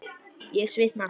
Ég svitna.